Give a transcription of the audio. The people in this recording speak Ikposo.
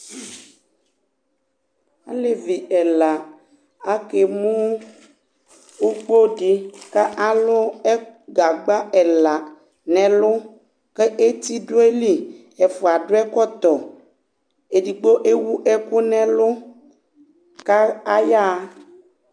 ɑlɛvi ɛlɑ ɑkɛmu ukudi ɑlu gɑgbɑ ɛlɑ nɛlu ɛtiduɑyili ɛfuɑ duɛkɔto ɛdigbo ɛwuɛkunɛlu kɑyɑhɑ